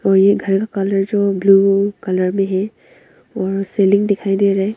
वे घर कलर जो blue colour में है और सीलिंग दिखाई दे रहा है।